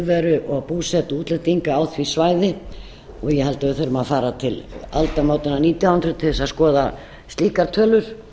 viðveru og búsetu útlendinga á því svæði ég held að við þurfum að fara til aldamótanna nítján hundruð til þess að skoða slíkar tölur